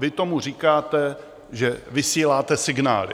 Vy tomu říkáte, že vysíláte signály.